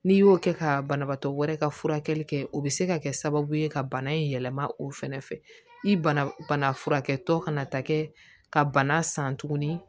N'i y'o kɛ ka banabaatɔ wɛrɛ ka furakɛli kɛ o bɛ se ka kɛ sababu ye ka bana in yɛlɛma o fɛnɛ fɛ i bana bana furakɛtɔ kana ta kɛ ka bana san tuguni